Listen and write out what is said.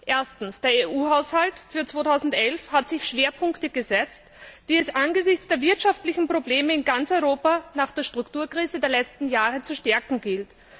Erstens Der EU Haushalt für 2011 hat sich Schwerpunkte gesetzt, die es angesichts der wirtschaftlichen Probleme in ganz Europa nach der Strukturkrise der letzten Jahre zu stärken gilt.